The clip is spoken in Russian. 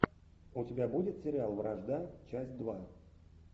у тебя будет сериал вражда часть два